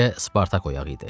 Bircə Spartak oyaq idi.